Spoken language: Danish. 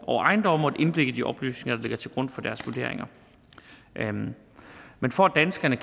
over ejendomme og et indblik i de oplysninger der ligger til grund for deres vurderinger men for at danskerne